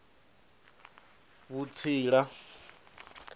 vhutsila